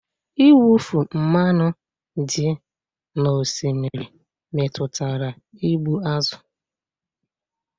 Mwụfu mmanụ dị n'osimiri metụtara igbu azụ̀